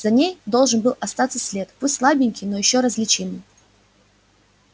за ней должен был остаться след пусть слабенький но ещё различимый